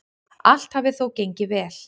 Allt hafi þó gengið vel.